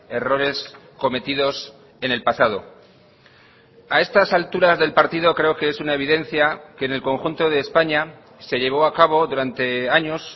errores cometidos en el pasado a estas alturas del partido creo que es una evidencia que en el conjunto de españa se llevó a cabo durante años